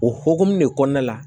O hokumu de kɔnɔna la